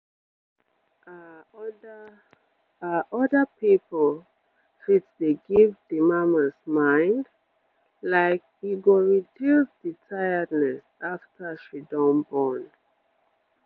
ah oda ah oda people fit dey give d mamas mind like e go reduce d tiredness after she don born